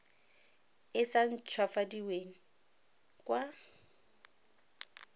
e sa nt hwafadiweng kwa